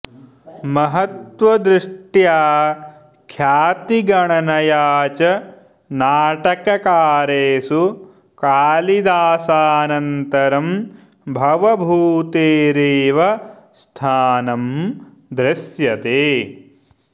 महत्वदष्ट्या ख्यातिगणनया च नाटककारेषु कालिदासानन्तरं भवभूतेरेव स्थानं दृश्यते